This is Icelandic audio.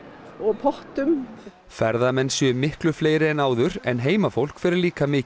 og pottum ferðamenn séu miklu fleiri en áður en heimafólk fer líka mikið